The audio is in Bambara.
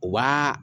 U b'a